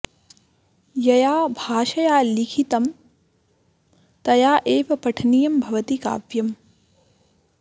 यया भाषया लिखितं तया एव पठनीयं भवति काव्यम्